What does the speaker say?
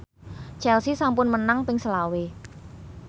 Chelsea sampun menang ping selawe